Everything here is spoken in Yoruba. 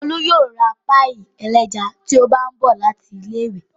Olú yóò ra páíì ẹlẹ́ja tí ó bá ń bọ̀ láti ilé-ìwé.